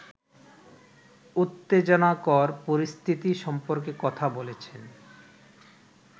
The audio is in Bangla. উত্তেজনাকর পরিস্থিতি সম্পর্কে কথা বলেছেন